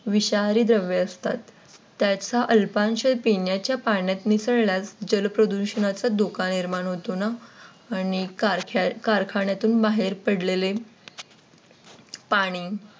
विषारी द्रव्य असतात. त्याचा अल्पांश पिण्याच्या पाण्या त मिसळल्यास जलप्रदूषणाचा धोका निर्माण होतो ना आणि कारखान्यातून बाहेर पडलेले पाणी